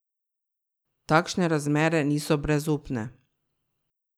Takšne razmere niso brezupne.